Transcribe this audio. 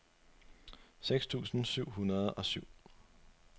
seks tusind syv hundrede og syv